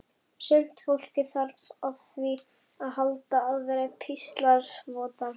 Sumt fólk þarf á því að halda að vera píslarvottar.